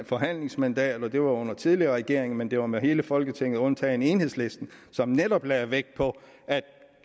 forhandlingsmandat og det var under en tidligere regering men det var med hele folketinget undtagen enhedslisten netop lagde vægt på at